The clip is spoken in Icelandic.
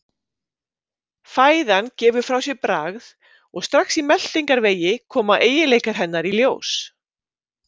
Fæðan gefur frá sér bragð og strax í meltingarvegi koma eiginleikar hennar í ljós.